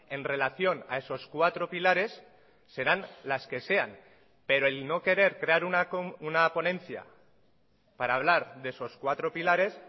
en relación a esos cuatro pilares serán las que sean pero el no querer crear una ponencia para hablar de esos cuatro pilares